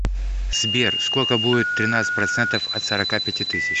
сбер сколько будет тринадцать процентов от сорока пяти тысяч